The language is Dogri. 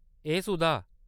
ए सुधा!